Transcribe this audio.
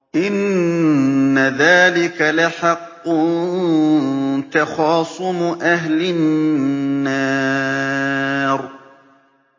إِنَّ ذَٰلِكَ لَحَقٌّ تَخَاصُمُ أَهْلِ النَّارِ